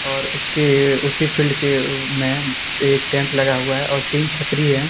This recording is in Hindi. और उसके उसी फील्ड के में एक टेंट लगा हुआ है और तीन छतरी हैं।